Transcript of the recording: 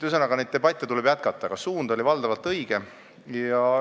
Ühesõnaga, debatte tuleb jätkata, aga suund on valdavalt õige.